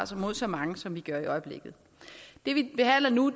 mod så mange som vi gør i øjeblikket det vi behandler nu